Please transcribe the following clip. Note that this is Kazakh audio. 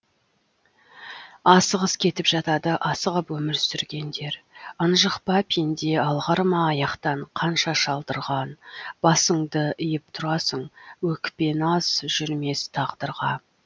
асығыс кетіп жатады асығып өмір сүргендер ынжық па пенде алғыр ма аяқтан қанша шалдырған басыңды иіп тұрасың өкпе наз жүрмес тағдырға